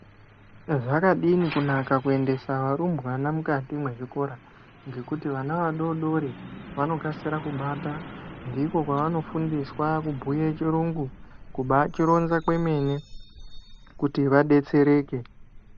Zvakadini kunaka kuendesa varumbwana mukati mwezvikora, ngekuti vana vadodori vanokasira kubata. Ndiko kwavanofundiswa kubhuye chirungu, kubaachironza kwemene, kuti vadetsereke. .